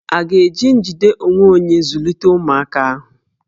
À ga-eji njide onwe onye zụlite ụmụaka ahụ?